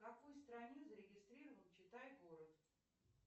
в какой стране зарегистрирован читай город